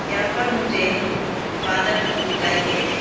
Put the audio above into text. यहां पर मुझे फादर लोग दिखाई दे रहे--